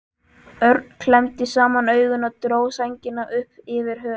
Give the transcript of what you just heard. Örn klemmdi saman augun og dró sængina upp yfir höfuð.